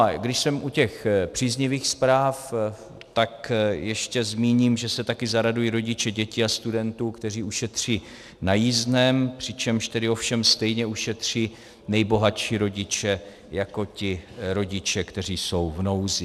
A když jsem u těch příznivých zpráv, tak ještě zmíním, že se také zaradují rodiče dětí a studentů, kteří ušetří na jízdném, přičemž tedy ovšem stejně ušetří nejbohatší rodiče jako ti rodiče, kteří jsou v nouzi.